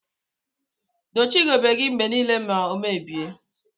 Dochie ugegbe gi mgbe nile ma omebie.